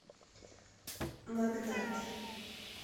магнат